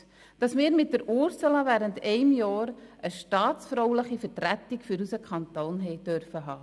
Ich bin stolz, dass wir mit Ursula Zybach während eines Jahres eine staatsfrauliche Vertretung für unseren Kanton haben durften.